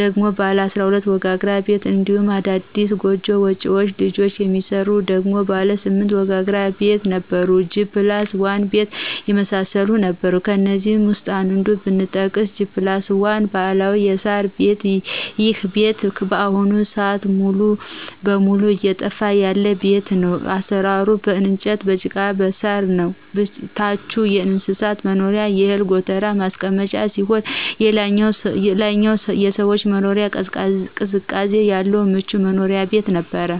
ደግሞ ባለ 12 ወጋግራ ቤት እንዲሁም አዲስ ጎጆ ወጭ ልጅ የሚሰራ ደግሞ ባለ 8 ወጋግራ ቤት ነበሩ G+1 ቤት የመሳሰሉት ነበሩ ከእነዚህ ውስጥ አንዱን ብጠቅስ G+1 ባህላዊ የሳር ቤት ይሄ ቤት በአሁኑ ስአት ሙሉ በሙሉ እየጠፋ ያለ ቤት ነው አሰራሩም በእንጨት በጭቃና በሳር ነው ታቹ የእንስሳት መኖሪያና የእህል ጎተራ ማስቀመጫ ሲሆን ላይኛው የሰዎች መኖሪያ ቅዝቃዜ ያለው ምቹ መኖሪያ ቤት ነበር።